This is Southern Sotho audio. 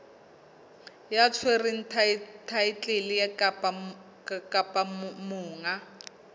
ya tshwereng thaetlele kapa monga